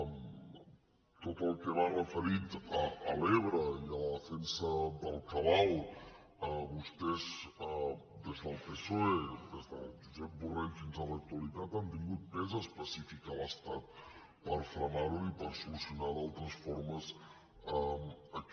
en tot el que va referit a l’ebre i a la defensa del cabal vostès des del psoe des de josep borrell fins a l’actualitat han tingut pes específic a l’estat per frenar ho i per solucionar d’altres formes aquest